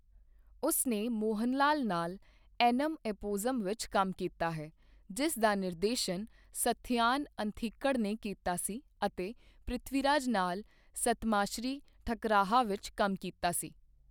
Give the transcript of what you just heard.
ਉਸ ਨੇ ਮੋਹਨਲਾਲ ਨਾਲ 'ਐਨਮ ਐਪੋਜ਼ੁਮ' 'ਵਿੱਚ ਕੰਮ ਕੀਤਾ ਹੈ, ਜਿਸ ਦਾ ਨਿਰਦੇਸ਼ਨ ਸੱਥਯਾਨ ਅੰਥਿਕੜ ਨੇ ਕੀਤਾ ਸੀ ਅਤੇ ਪ੍ਰਿਥਵੀਰਾਜ ਨਾਲ 'ਸੱਤਮਾਸ੍ਰੀ ਠੱਕਰਾਹਾ' ਵਿੱਚ ਕੰਮ ਕੀਤਾ ਸੀ।